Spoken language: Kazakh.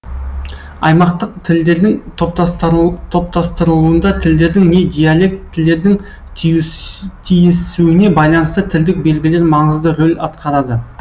аймақтық тілдердің топтастырылуында тілдердің не диалектілердің түйісуіне байланысты тілдік белгілер маңызды рөл атқарады